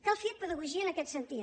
cal fer pedagogia en aquest sentit